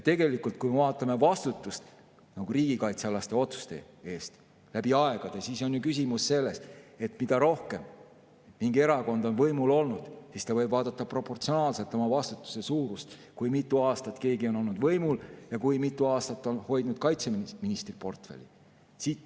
Tegelikult, kui me vaatame vastutust riigikaitsealaste otsuste eest läbi aegade, siis on küsimus selles, et kui mingi erakond on rohkem võimul olnud, siis ta võib vaadata oma vastutuse suurust proportsionaalselt, selle järgi, kui mitu aastat ta on olnud võimul ja kui mitu aastat on hoidnud kaitseministri portfelli.